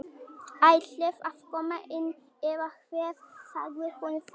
Ætliði að koma inn eða hvað sagði hún þá.